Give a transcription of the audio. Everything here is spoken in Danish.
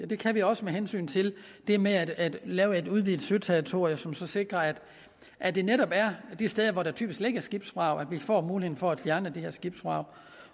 det kan vi også med hensyn til det med at lave et udvidet søterritorium som skal sikre at at det netop er de steder hvor der typisk ligger skibsvrag vi får mulighed for at fjerne de her skibsvrag